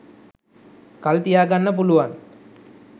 කල් තියාගන්න පුළුවන්.